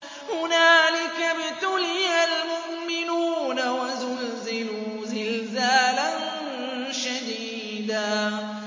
هُنَالِكَ ابْتُلِيَ الْمُؤْمِنُونَ وَزُلْزِلُوا زِلْزَالًا شَدِيدًا